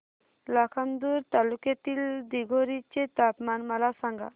लाखांदूर तालुक्यातील दिघोरी चे तापमान मला सांगा